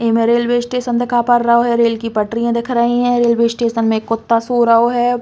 ए में railway station दिखा पर रओ है। रेल की पटरीयां दिख रही हैं। रेलवे स्टेशन में एक कुत्ता सो रओ है।